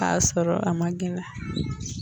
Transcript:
K''a sɔrɔ a ma gɛlɛya.